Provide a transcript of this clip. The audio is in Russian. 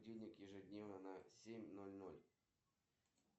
салют переведи пять долларов жендосу